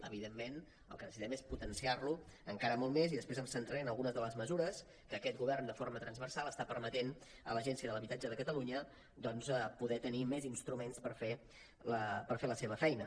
evidentment el que necessitem és potenciar lo encara molt més i després em centraré en algunes de les mesures que aquest govern de forma transversal està permetent a l’agència de l’habitatge de catalunya doncs per poder tenir més instruments per fer la seva feina